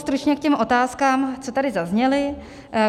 Stručně k těm otázkám, co tady zazněly.